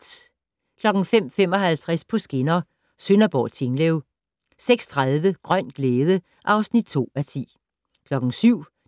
05:55: På skinner: Sønderborg-Tinglev 06:30: Grøn glæde (2:10) 07:00: